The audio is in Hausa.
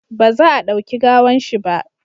ba za a dauki gawan shi ba!